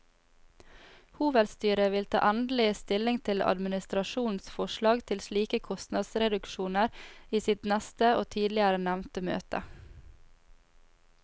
Hovedstyret vil ta endelig stilling til administrasjonens forslag til slike kostnadsreduksjoner i sitt neste og tidligere nevnte møte.